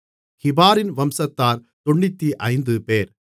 கிபாரின் வம்சத்தார் 95 பேர்